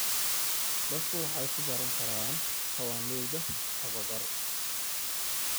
Dadku waxay ku baran karaan kawaanleyda tababar.